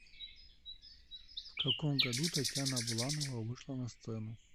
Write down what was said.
в каком году татьяна буланова вышла на сцену